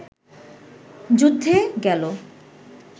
যুদ্ধে গেল